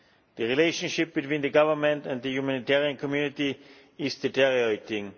The relationship between the government and the humanitarian community is deteriorating.